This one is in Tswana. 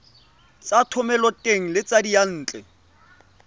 tsa thomeloteng le tsa diyantle